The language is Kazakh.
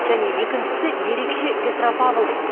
және екіншісі ерекше петропавлдық